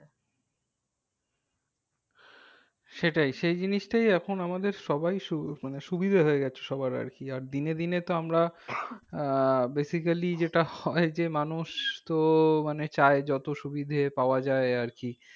সেটাই সেই জিনিসটাই এখন আমাদের সবাই মানে সুবিধা হয়ে গেছে সবার আর কি আর দিনে দিনে তো আমরা আহ basically যেটা হয় যে মানুষ তো মানে চায় যত সুবিধা পাওয়া যায় আর কি।